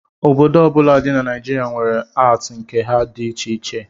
Obodo ọbụla dị na Naijirịa were atii nke ha dị iche iche